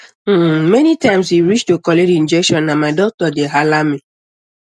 hmmanytime e reach to collect injection na my doctor dey holla me